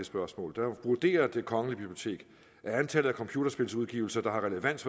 spørgsmål vurderer det kongelige bibliotek at antallet af computerspilsudgivelser der har relevans